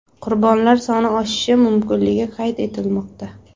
Qurbonlar soni oshishi mumkinligi qayd etilmoqda.